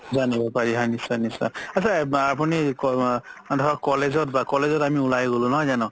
জানিব পাৰি হয় নিশ্চয় নিশ্চয় আত্চা আপুনি ধৰক college বা college ত আমি উলাই গ'লো নহয় যানো